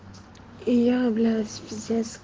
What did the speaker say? я блять пиздец